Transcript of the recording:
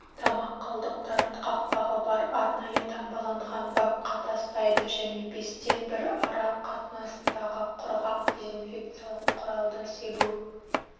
тамақ қалдықтарын қақпағы бар арнайы таңбаланған бакқа тастайды және бестен бір ара қатынасындағы құрғақ дезинфекциялық құралды себу